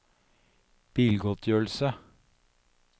bilgodtgjørelse